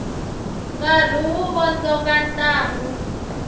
nkarhi wu vondzoka ntlangu